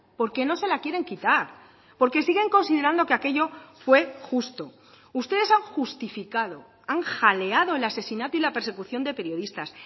porque no se la quieren quitar porque siguen considerando que aquello fue justo ustedes han justificado han jaleado el asesinato y la persecución de periodistas